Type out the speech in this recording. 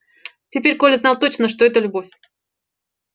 теперь коля знал точно что это любовь